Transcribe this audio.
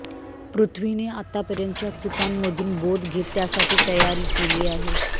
पृथ्वीने आतापर्यंतच्या चुकांमधून बोध घेत त्यासाठी तयारी केली आहे